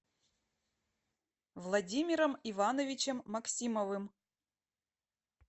владимиром ивановичем максимовым